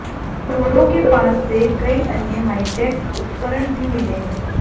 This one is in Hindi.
चोरों के पास से कई अन्य हाईटेक उपकरण भी मिले हैं